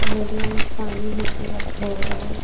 नदिया में पानी ही पूरा भरल.